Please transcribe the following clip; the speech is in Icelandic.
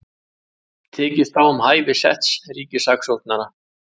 Tekist á um hæfi setts ríkissaksóknara